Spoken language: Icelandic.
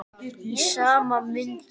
Í sama mund og